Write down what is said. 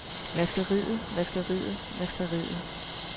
vaskeriet vaskeriet vaskeriet